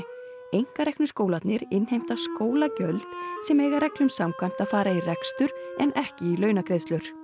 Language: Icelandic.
einkareknu skólarnir innheimta skólagjöld sem eiga reglum samkvæmt að fara í rekstur en ekki í launagreiðslur